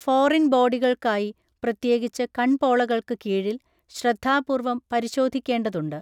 Foreign ബോഡികൾക്കായി, പ്രത്യേകിച്ച് കൺപോളകൾക്ക് കീഴിൽ, ശ്രദ്ധാപൂർവം പരിശോധിക്കേണ്ടതുണ്ട്.